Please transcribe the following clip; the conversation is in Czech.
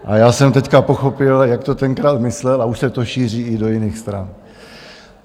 A já jsem teď pochopil, jak to tenkrát myslel, a už se to šíří i do jiných stran.